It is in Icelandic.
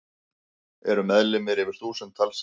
Eru meðlimir yfir þúsund talsins.